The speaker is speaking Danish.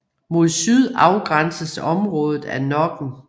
Mod syd afgrænses området af Nokken